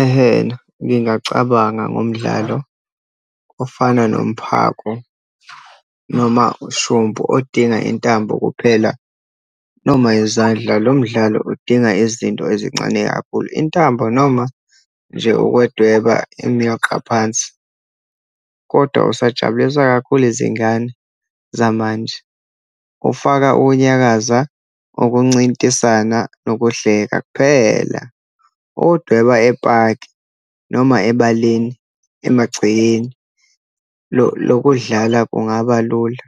Ehena, ngingacabanga ngomdlalo ofana nomphako, noma ushumpu, odinga intambo kuphela, noma izandla. Lo mdlalo udinga izinto ezincane kakhulu, intambo, noma nje ukwedweba imiyoqa phansi. Kodwa usajabulisa kakhulu izingane zamanje, ufaka ukunyakaza, ukuncintisana, nokuhleka kuphela. Ukuwudweba epaki, noma ebaleni emagcekeni, lokudlala kungaba lula.